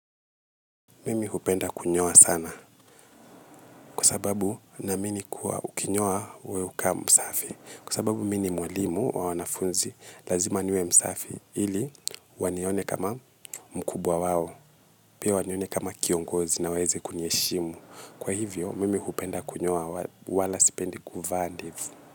Mimi hupenda kunyoa sana kwa sababu naamini kuwa ukinyoa wewe hukaa msafi kwa sababu mimi ni mwalimu wa wanafunzi lazima niwe msafi ili wanione kama mkubwa wao pia wanione kama kiongozi na waweze kuniheshimu kwa hivyo mimi hupenda kunyoa wala sipendi kuvaa ndevu.